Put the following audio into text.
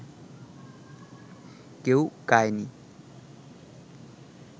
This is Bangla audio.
কেউ কায় নি